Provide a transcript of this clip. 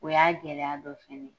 O y'a gɛlɛya dɔ fana